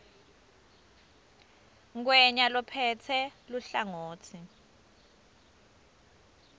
ngwenya lophetse luhlangotsi